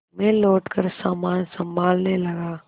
मैं लौटकर सामान सँभालने लगा